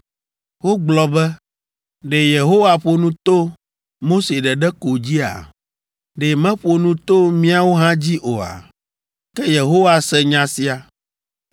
Wogblɔ be, “Ɖe Yehowa ƒo nu to Mose ɖeɖe ko dzia? Ɖe meƒo nu to míawo hã dzi oa?” Ke Yehowa se nya sia.